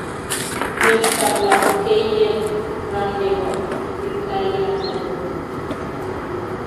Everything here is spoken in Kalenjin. Betutab lapkeiyet ra ne bo kiptaiyandet nyon